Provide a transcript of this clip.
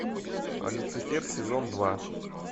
люцифер сезон два